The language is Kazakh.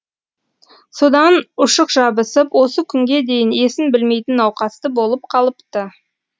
содан ұшық жабысып осы күнге дейін есін білмейтін науқасты болып қалыпты